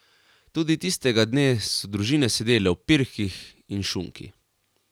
Tudi tistega dne so družine sedele ob pirhih in šunki.